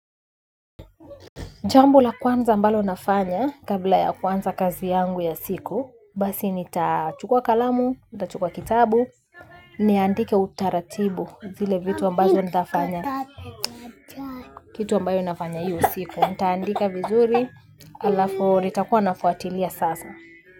Jambo la kwanza ambalo nafanya kabla ya kwanza kazi yangu ya siku, basi nitachukua kalamu, nitachukua kitabu, niandike utaratibu zile vitu ambazo ntafanya, kitu ambayo nafanya hiyo siku, nitaandika vizuri, alafu nitakuwa nafuatilia sasa.